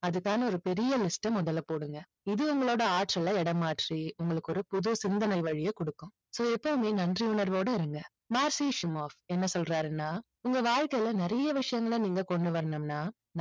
அதுக்கான ஒரு பெரிய list அ முதல்ல போடுங்க. இது உங்களோட ஆற்றலை இடமாற்றி உங்களுக்கு ஒரு புது சிந்தனை வழியை கொடுக்கும். so எப்பவுமே நன்றி உணர்வோட இருங்க. மார்சிஸ்மோர் என்ன சொல்றாருன்னா உங்க வாழ்க்கையில நிறைய விஷயங்களை நீங்க கொண்டு வரணும்னா